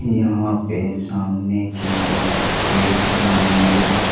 यहां पे सामने की तरफ एक मंदिर--